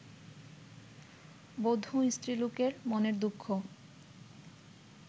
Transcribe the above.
বঁধু স্ত্রীলোকের মনের দুঃখ